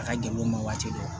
A ka gɛlɛ u ma waati dɔ